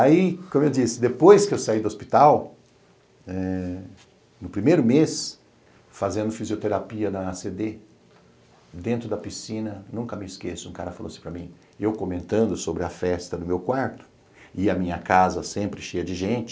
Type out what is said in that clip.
Aí, como eu disse, depois que eu saí do hospital, eh, no primeiro mês, fazendo fisioterapia na a a cê dê, dentro da piscina, nunca me esqueço, um cara falou assim para mim, eu comentando sobre a festa no meu quarto, e a minha casa sempre cheia de gente,